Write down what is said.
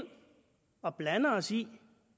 og blander os i